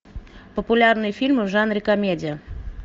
популярные фильмы в жанре комедия